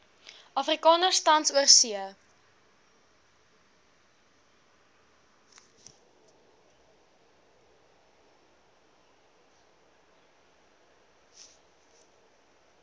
afrikaners tans oorsee